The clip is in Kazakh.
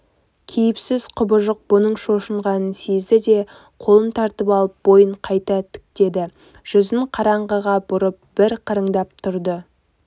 кейіпсіз құбыжық бұның шошынғанын сезді де қолын тартып алып бойын қайта тіктеді жүзін қараңғыға бұрып бір қырындап тұрды